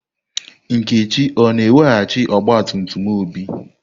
Nkechi o-na eweghachi ọgba tum tum Obi?